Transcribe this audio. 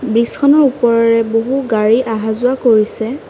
ব্ৰীজখনৰ ওপৰেৰে বহু গাড়ী অহা যোৱা কৰিছে।